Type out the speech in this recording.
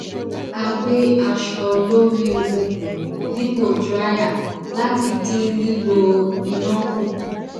a gbẹ aṣọ lórí okùn dipo drier láti dín lílò iná kù